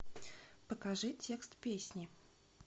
покажи текст песни